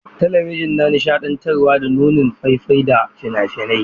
Talabijin na nishaɗantarwa da nunin faifai da fina-finai.